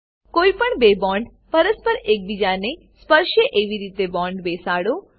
કોઈપણ બે બોન્ડ પરસ્પર એકબીજાને ન સ્પર્શે એવી રીતે બોન્ડ બેસાડો